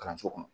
Kalanso kɔnɔ